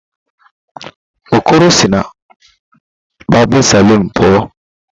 Okoro si na barbịn salụn pụọ.